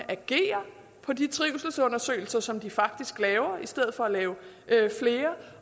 agerer på de trivselsundersøgelser som de faktisk laver i stedet for at lave flere